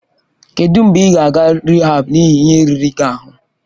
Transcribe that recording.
Kedụ mgbe ị ga-aga rịhaab n'ihi ihe riri gị ahụ?